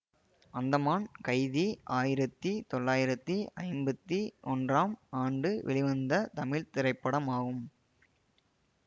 அந்தமான் கைதி ஆயிரத்தி தொளாயிரத்தி ஐம்பத்தி ஒன்றாம் ஆண்டு வெளிவந்த தமிழ் திரைப்படமாகும்